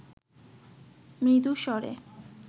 মৃদু স্বরে